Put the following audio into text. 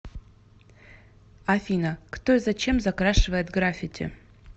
афина кто и зачем закрашивает граффити